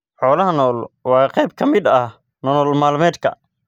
Xoolaha nool waa qayb ka mid ah nolol maalmeedka.